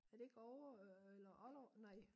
Er det ikke Oure eller Ollerup nej